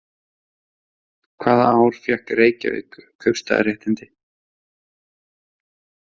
Hvaða ár fékk Reykjavík kaupstaðaréttindi?